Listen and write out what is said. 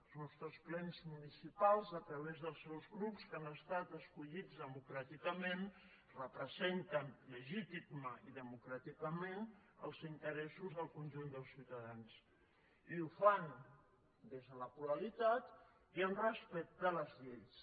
els nostres plens municipals a través dels seus grups que han estat escollits democràticament representen legítimament i democràticament els interessos del conjunt dels ciutadans i ho fan des de la pluralitat i amb respecte a les lleis